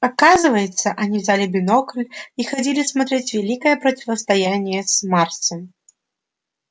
оказывается они взяли бинокль и ходили смотреть великое противостояние с марсом